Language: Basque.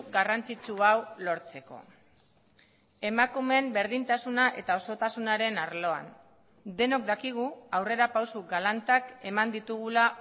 garrantzitsu hau lortzeko emakumeen berdintasuna eta osotasunaren arloan denok dakigu aurrerapauso galantak eman ditugula